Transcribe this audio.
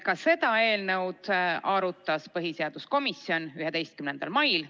Ka seda eelnõu arutas põhiseaduskomisjon 11. mail.